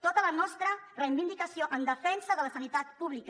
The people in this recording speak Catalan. tota la nostra reivindicació en defensa de la sanitat pública